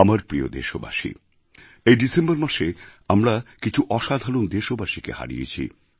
আমার প্রিয় দেশবাসী এই ডিসেম্বর মাসে আমরা কিছু অসাধারণ দেশবাসীকে হারিয়েছি